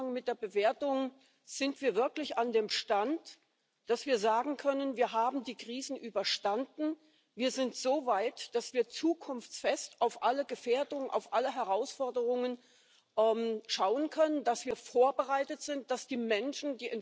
und an wen sie sich wenden müssen, mit wem sie gemeinsam kämpfen können, wenn nicht klar ist, wer wofür verantwortlich ist, welche Verantwortung die einzelnen Institutionen tragen. Das müssen wir deutlich